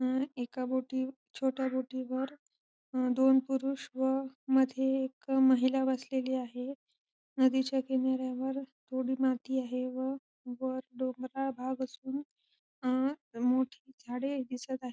अ एका बोटी छोट्या बोटी वर दोन पुरुष व मध्ये एक महिला बसलेली आहे नदीच्या किनाऱ्यावर थोडी माती आहे व वर डोंगराळ भाग असून अ मोठी झाडे दिसत आहे.